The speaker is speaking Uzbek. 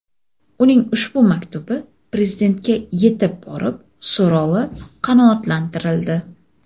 Uning ushbu maktubi Prezidentga yetib borib, so‘rovi qanoatlantirildi .